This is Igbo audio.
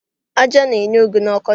Aja na-enye ego n'ọkọchị